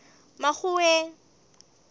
makgoweng